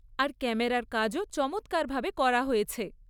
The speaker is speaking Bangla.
আর ক্যামেরার কাজও চমৎকারভাবে করা হয়েছে।